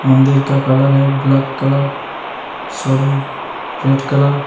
मंदिर का कलर हैं ब्लॅक कलर सोडि ! Red colour.